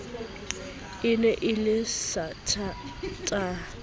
e ne e le satertaha